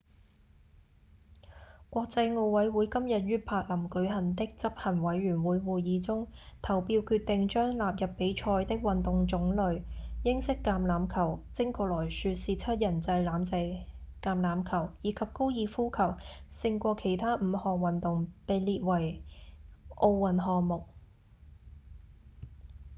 國際奧委會今日於柏林舉行的執行委員會會議中投票決定將納入比賽的運動種類英式橄欖球精確來說是七人制橄欖球以及高爾夫球勝過其他五項運動被列為奧運項目